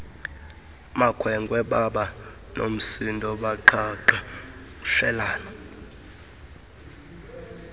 makhwenkwe babanomsindo baqhagqmshelana